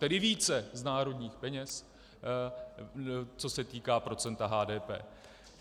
Tedy více z národních peněz, co se týká procenta HDP.